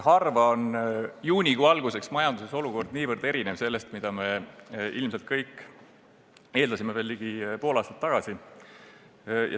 Harva on juunikuu alguseks majanduses olukord niivõrd erinev sellest, mida me ilmselt kõik eeldasime veel ligi pool aastat tagasi.